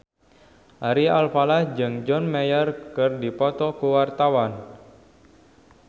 Ari Alfalah jeung John Mayer keur dipoto ku wartawan